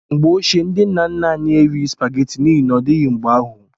Mgbe ochie, ndị nna nna anyị erighị supageti n'ihi n'odịghị mgbe ahụ.